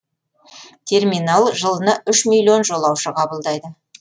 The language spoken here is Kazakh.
терминал жылына үш миллион жолаушы қабылдайды